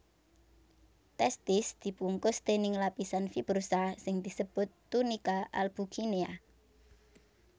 Testis dibungkus déning lapisan fibrosa sing disebut tunika albuginea